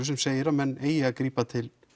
sem segir að menn eigi að grípa til